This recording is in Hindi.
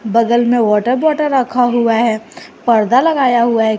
बगल में वाटर बोटल रखा हुआ है परदा लगाया हुआ है।